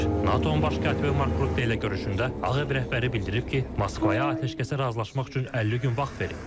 NATO-nun baş katibi Mark Rutte ilə görüşündə Ağ Ev rəhbəri bildirib ki, Moskvaya atəşkəsə razılaşmaq üçün 50 gün vaxt verib.